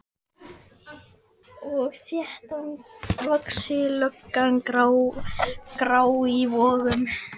Og þéttvaxin lögga, grá í vöngum.